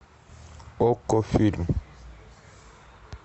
окко фильм